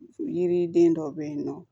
Yiriden dɔ bɛ yen nɔ